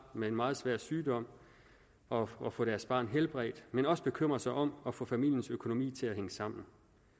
med en meget svær sygdom og og få deres barn helbredt men også bekymre sig om at få familiens økonomi til at hænge sammen